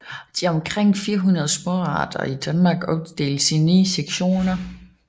De omkring 400 småarter i Danmark opdeles i 9 sektioner